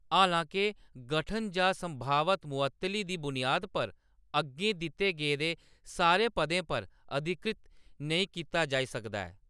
हालांके, गठन जां संभावत मुअत्तली दी बुनियाद पर अग्गें दित्ते गेदे सारे पदें पर अधिकृत नेईं कीता जाई सकदा ऐ।